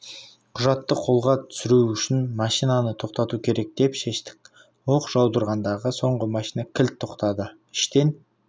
құжатты қолға түсіру үшін машинаны тоқтату керек деп шештік оқ жаудырғанда соңғы машина кілт тоқтады іштен